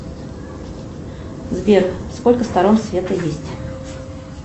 сбер сколько сторон света есть